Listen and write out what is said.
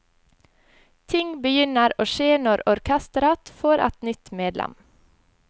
Ting begynner å skje når orkesteret får et nytt medlem.